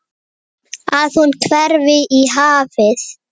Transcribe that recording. Að hún hverfi í hafið.